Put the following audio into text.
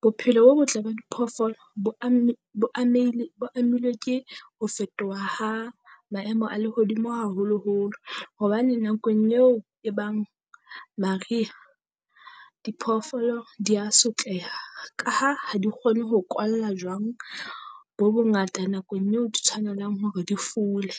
Bophelo bo botle ba diphoofolo bo amme bo amehile bo amilwe ke ho fetoha ha maemo a lehodimo haholoholo, hobane nakong eo e bang mariha diphoofolo di a sotleha. Ka ha ha di kgone ho kwalla jwang bo bongata nakong eo di tshwanelang hore di fule,